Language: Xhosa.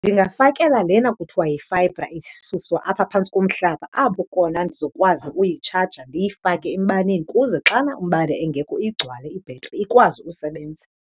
Ndingafakela lena kuthiwa yifayibha isuswa apha phantsi komhlaba apho kona ndizokwazi uyitshaja ndiyifake embaneni kuze xana umbane engekho igcwale ibhetri, ikwazi usebenza.